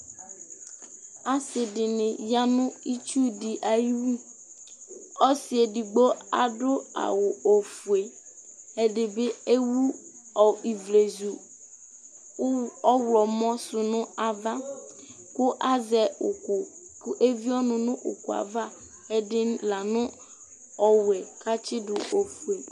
assi dïni ya nũ itsũ di ayiwũ ɔssi'edigbo adũ awʊ ɔfũe ɛdïbi ewũ ɔ ïvlizũ ũ ɔylɔmõ sunu avă kʊ azɛ ũkũ kʉ évié ɔnũ nʉ ʊkʊava ɛdï lanũ ɔwẽ k'atsïdũ õfué